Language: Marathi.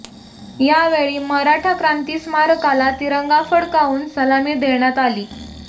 यावेळी मराठा क्रांती स्मारकाला तिरंगा फडकावून सलामी देण्यात आली